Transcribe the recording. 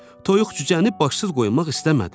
Toyuq-cücəni başsız qoymaq istəmədi.